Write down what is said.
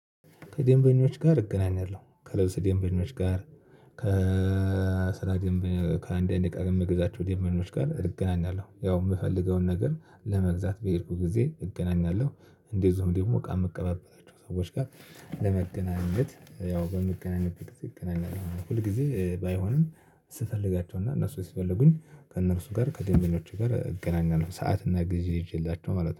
ከደንበኞች ጋር እገናኛለሁ። ከልብስ ደንበኞች ጋር፣ ከስራ ከአንድ አንድ እቃ ከምገዛቸው ድንበኞች ጋር እገናኛለሁ። ያው የምፈልገውን ነገር ለመግዛት በሄድኩ ጊዜ እገናኛለሁ። እንደዚሁም ደግም እቃ የምቀባበላቸው ሰዎች ጋር ለመገናኘት ያው በመገናኘት እንገናኛለን ማለት ነው። ሁል ጊዜ ባይሆንም ስፈልጋቸው እና እነሱ ሲፈልጉኝ ከእነርሱ ጋር ከድንበኞቹ ጋር እገናኛለሁ ሰዓት እና ጊዜ ይዤላቸው ማለት ነው።